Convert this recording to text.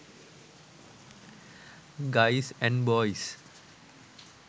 guys and boys